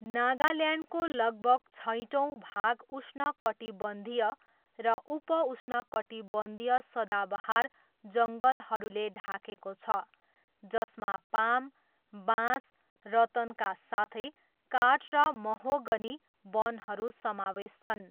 नागाल्यान्डको लगभग छैटौँ भाग उष्णकटिबन्धीय र उप उष्णकटिबन्धीय सदाबहार जङ्गलहरूले ढाकेको छ जसमा पाम, बाँस, रतनका साथै काठ र महोगनी वनहरू समावेश छन्।